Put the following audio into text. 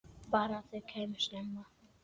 Bara að þau kæmu snemma.